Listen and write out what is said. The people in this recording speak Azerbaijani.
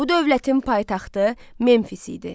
Bu dövlətin paytaxtı Memfis idi.